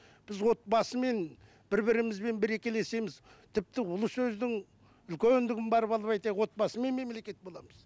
біз отбасымен бір бірімізбен бірекелесеміз тіпті ұлы сөздің үлкендігін барып алып айтайық отбасымен мемлекет боламыз